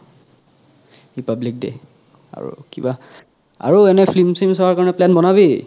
republic day আৰু কিবা আৰু এনে film চিইম চুৱা কাৰণে plan বনাবি